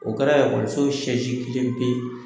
O kɛra y so sɛsi depe